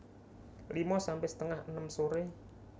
lima sampe setengah enem sore